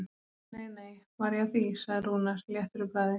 Nei, nei, var ég að því, sagði Rúnar léttur í bragði.